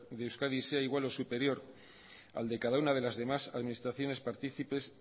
de euskadi sea igual o superior al de cada una de las demás administraciones participes